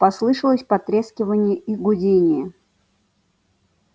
послышалось потрескивание и гудение